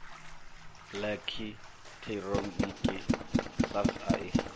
ḽekhi ṱhironiki sars a i